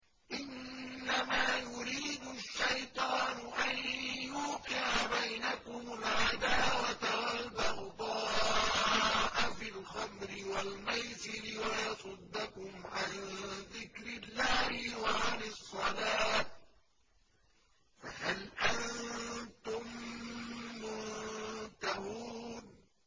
إِنَّمَا يُرِيدُ الشَّيْطَانُ أَن يُوقِعَ بَيْنَكُمُ الْعَدَاوَةَ وَالْبَغْضَاءَ فِي الْخَمْرِ وَالْمَيْسِرِ وَيَصُدَّكُمْ عَن ذِكْرِ اللَّهِ وَعَنِ الصَّلَاةِ ۖ فَهَلْ أَنتُم مُّنتَهُونَ